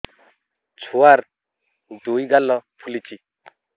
ଛୁଆର୍ ଦୁଇ ଗାଲ ଫୁଲିଚି